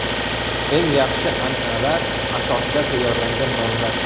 Eng yaxshi an’analar asosida tayyorlangan nonlar!.